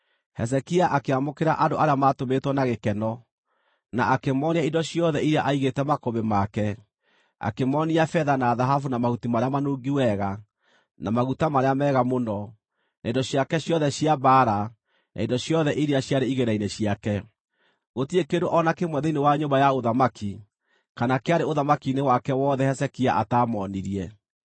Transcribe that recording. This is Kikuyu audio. Hezekia akĩamũkĩra andũ arĩa maatũmĩtwo na gĩkeno, na akĩmoonia indo ciothe iria aigĩte makũmbĩ make; akĩmoonia betha, na thahabu na mahuti marĩa manungi wega na maguta marĩa mega mũno, na indo ciake ciothe cia mbaara na indo ciothe iria ciarĩ igĩĩna-inĩ ciake. Gũtirĩ kĩndũ o na kĩmwe thĩinĩ wa nyũmba ya ũthamaki kana kĩarĩ ũthamaki-inĩ wake wothe Hezekia ataamoonirie.